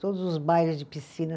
Todos os bailes de piscina.